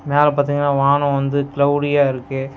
மேல பாத்திங்ன்னா வானோ வந்து கிளவ்டியா இருக்கு.